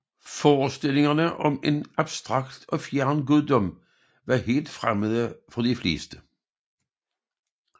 Forestillinger om en abstrakt og fjern guddom var helt fremmede for de fleste